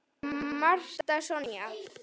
Marta Sonja.